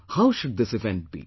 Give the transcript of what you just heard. How should this event be